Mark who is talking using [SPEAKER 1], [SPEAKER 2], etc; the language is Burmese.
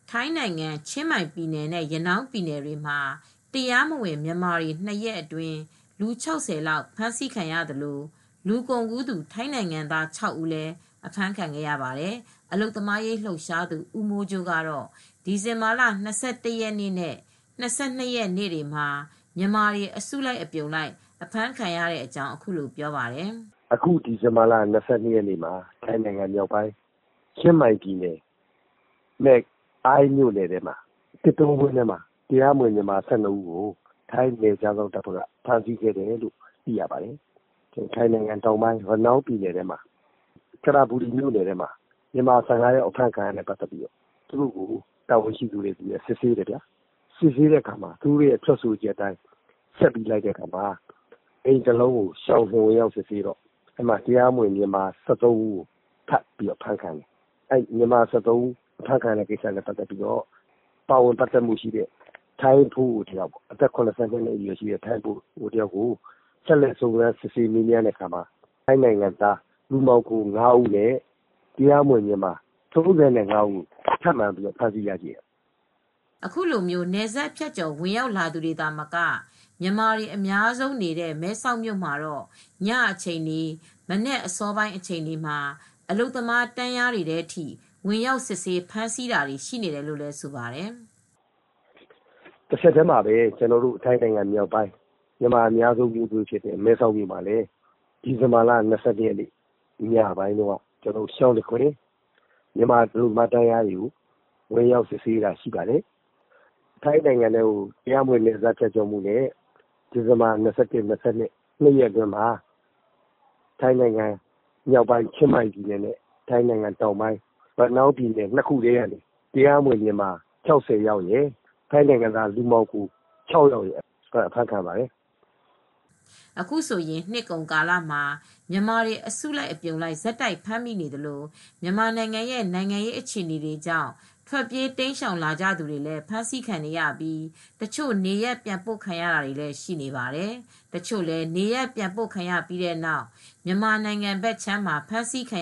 [SPEAKER 1] ထိုင်းနိုင်ငံ ၊ ချင်းမိုင်ပြည်နယ် နဲ့ ရနောင်းပြည်နယ်တွေမှာ တရားမဝင် မြန်မာတွေ ၂ရက်အတွင်း လူ၆၀လောက် အဖမ်းဆီးခံရသလို လူကုန်ကူသူ ထိုင်းနို်င်ငံသား၆ဦးလည်း အဖမ်းဆီးခံရပါတယ်။ အလုပ်သမားအရေး လှုပ်ရှားသူ ဦးမိုးကြိုး ကတော့ ဒီဇင်ဘာလ ၂၁ရက်နေ့ နဲ့ ၂၂ရက်နေ့တွေမှာမြန်မာတွေ အစုလိုက် အပြုံလိုက် အဖမ်းခံရတဲ့အကြောင်း အခုလိုပြောပါတယ်။
[SPEAKER 2] " အခုဒီဇင်ဘာလ၂၂ရက်နေ့က ချင်းမိုင်ပြည်နယ် မဲ့အိုင်းမြို့နယ်ထဲက သစ်တောဝင်းထဲမှာ တရားမဝင် မြန်မာ၁၂ယောက်ကို ထိုင်းနယ်ခြားစောင့်တပ်က ဖမ်းဆီးခံရပါတယ် ။ ထိုင်းနိုင်ငံ ၊ ရနောင်းပြည်နယ်၊ ကရာဘူရီမြို့နယ်ထဲမှာလည်း မြန်မာ၁၅ယောက် ဖမ်းဆီးခံရပြီး တာဝန်ရှိသူတွေက သူတို့ကို စစ်ဆေးပါတယ်။ စစ်ဆေးချက်ကို ထပ်ပြီးလိုက်တော့ တရားမဝင် မြန်မာ၁၃ဦးဖမ်းခံရတယ်။ ဒီစစ်ဆေးချက်အရ အသက်၇၀ကျော်အရွယ်အဖိုးအိုတဦးလည်း စစ်ဆေးပါတယ်။ သူရဲ့ထွက်ဆိုချက်အရ ထပ်မံဖမ်းဆီးခံရသူတွေကတော့ ထိုင်းနိုင်ငံသား လူမှောင်ခိုသမား ၅ဦးနဲ့ တရားမဝင်မြန်မာ၃၅ဦးကို ထပ်မံဖမ်းမိတယ်
[SPEAKER 1] " အခုလိုနယ်စပ် ဖြတ်ကျော်ဝင်ရောက်လာသူတွေ သာမက မြန်မာတွေ အများဆုံးနေတဲ့ မဲဆောက်မြို့မှာတော့ ညအချိန်တွေ မနက်အစောပိုင်း အချိန်တွေမှာ အလုပ်သမားတန်းလျားတွေထဲ ဝင်ရောက်စစ်ဆေး ဖမ်းဆီးတာတွေလည်း ရှိနေတယ်လို့ ဆိုပါတယ်။
[SPEAKER 2] " တဆက်တည်းမှာပဲ ထိုင်းမြန်မာနယ်စပ်က မြန်မာတွေများတဲ့ မဲဆောက်မြို့မှာလည်း အလုပ်သမားတန်းလျားတွေကို ရှောင်တခင် ဝင်ရောက်စစ်ဆေးတာလည်းရှိပါတယ် ။ ထိုင်းနိုင်ငံကို တရားမဝင်နယ်စပ် ဖြတ်ကျော်မူနဲ့ ဒီဇင်ဘာလ ၂၁ရက်နေ့နဲ့ ၂၂ရက်နေ့ တွေမှာ ထိုင်းနိုင်ငံ မြောက်ပိုင်း ချင်းမိုင်နဲ့ ထိုင်းတောင်ပိုင်း ၊ ရနောင်းပြည်နယ်မှာ ၊ တရားမဝင် မြန်မာ၆၀နဲ့ လူမှောင်ခိုသမား ၆ယောက်အဖမ်းခံရပါတယ်
[SPEAKER 1] " အခုဆိုရင် နှစ်ကုန်ကာလမှာ မြန်မာတွေ အစုလိုက် အပြုံလိုက် ဆက်တိုက်ဖမ်းမိနေသလို မြန်မာနိုင်ငံရဲ့ နိုင်ငံရေးအခြေအနေတွေကြောင့် ထွက်ပြေးတိမ်းရှောင်လာသူတွေလည်း ဖမ်းဆီးခံနေရပြီး တချို့နေရပ် ပြန်ပို့ခံရတာတွေလည်း ရှိနေပါတယ်။ တချို့လည်း နေရပ်ပြန်ပို့ခံရပြီးတဲ့နောက် မြန်မာနိုင်ငံဘက်မှာ ဖမ်းဆီးခံ